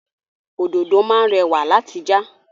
Òdòdó máá ń rẹ̀wà láti já.